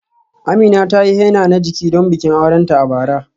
Amina ta yi henna na jiki don bikin aurenta a bara.